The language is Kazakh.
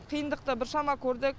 қиындықты біршама көрдік